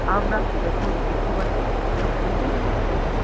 আমরা এখন দেখতে পাচ্ছি একটা মন্দিরের মতো কিছু।